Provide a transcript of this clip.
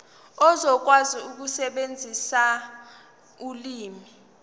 uzokwazi ukusebenzisa ulimi